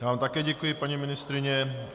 Já vám také děkuji, paní ministryně.